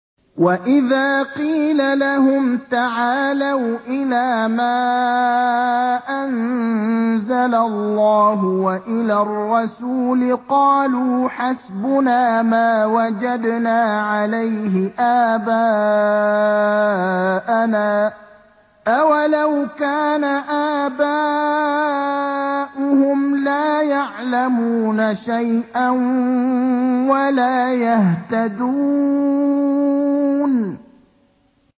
وَإِذَا قِيلَ لَهُمْ تَعَالَوْا إِلَىٰ مَا أَنزَلَ اللَّهُ وَإِلَى الرَّسُولِ قَالُوا حَسْبُنَا مَا وَجَدْنَا عَلَيْهِ آبَاءَنَا ۚ أَوَلَوْ كَانَ آبَاؤُهُمْ لَا يَعْلَمُونَ شَيْئًا وَلَا يَهْتَدُونَ